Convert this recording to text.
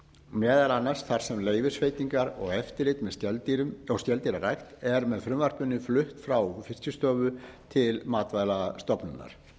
meðal annars þar sem leyfisveitingar og eftirlit með skeldýrum og skeldýrarækt er með frumvarpinu flutt frá fiskistofu til matvælastofnunar